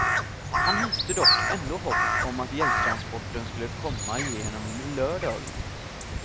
Han hyste dock ändå hopp om att hjälptransporten skulle komma igenom under lördagen.